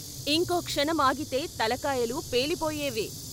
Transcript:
ఇంకో క్షణం ఆగితే తలకాయలు పేలిపోయేవే.